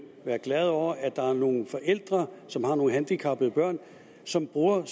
være glad over at der er nogle forældre som har nogle handicappede børn som bruger